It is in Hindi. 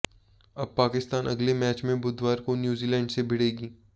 अब पाकिस्तान अगले मैच में बुधवार को न्यूजीलैंड से भिड़ेगी